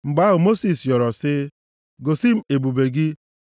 Mgbe ahụ, Mosis rịọrọ sị, “Gosi m ebube gị.”